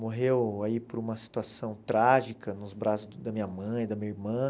Morreu aí por uma situação trágica nos braços da minha mãe e da minha irmã.